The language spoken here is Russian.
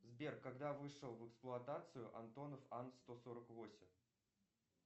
сбер когда вышел в эксплуатацию антонов ан сто сорок восемь